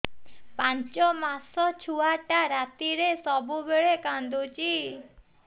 ପାଞ୍ଚ ମାସ ଛୁଆଟା ରାତିରେ ସବୁବେଳେ କାନ୍ଦୁଚି